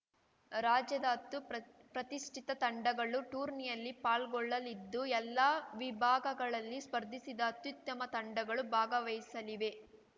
ರಾಜ್ಯದ ಹತ್ತು ಪ್ರತಿ ಪ್ರತಿಷ್ಠಿತ ತಂಡಗಳು ಟೂರ್ನಿಯಲ್ಲಿ ಪಾಲ್ಗೊಳ್ಳಲಿದ್ದು ಎಲ್ಲಾ ವಿಭಾಗಗಳಲ್ಲಿ ಸ್ಪರ್ಧಿಸಿದ ಅತ್ಯುತ್ತಮ ತಂಡಗಳು ಭಾಗವಹಿಸಲಿವೆ